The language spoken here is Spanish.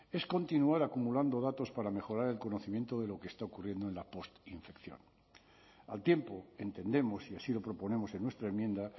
es continuar acumulando datos para mejorar el conocimiento de lo que está ocurriendo en la postinfección al tiempo entendemos y así lo proponemos en nuestra enmienda